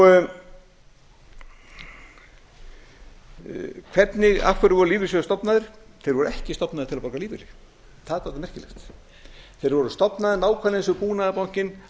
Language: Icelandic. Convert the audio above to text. hafa hvergi til hvers voru lífeyrissjóðir stofnaðir þeir voru ekki stofnaðir til að borga lífeyri það er dálítið merkilegt þeir voru